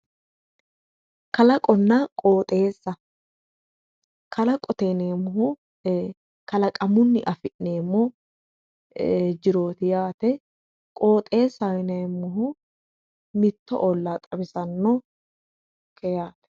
Kalaqonna qoxxeessa kalaqote yineemmohu kalaqamunni affi'neemmo jiroti yaate qoxxeessaho yineemmohu mitto olla xawisanonke yaate.